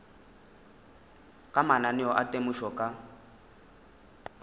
ka mananeo a temošo ka